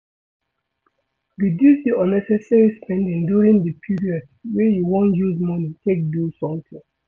Reduce unnecessary spending during di period wey you wan use money take do something